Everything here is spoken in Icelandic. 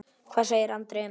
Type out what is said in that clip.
Hvað segir Andri um það?